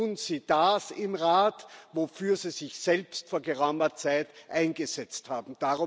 Tun Sie das im Rat, wofür Sie sich selbst vor geraumer Zeit eingesetzt haben!